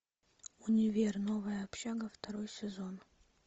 универ новая общага второй сезон